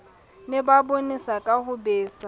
ne ba bonesaka ho besa